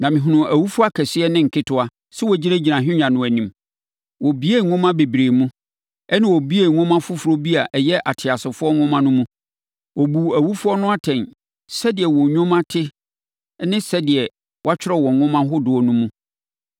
Na mehunuu awufoɔ akɛseɛ ne nketewa sɛ wɔgyinagyina ahennwa no anim. Wobuebuee nwoma bebree mu, ɛnna wobuee nwoma foforɔ bi a ɛyɛ ateasefoɔ nwoma no mu. Wɔbuu awufoɔ no atɛn, sɛdeɛ wɔn nnwuma te ne sɛdeɛ wɔatwerɛ wɔ nwoma ahodoɔ no mu no.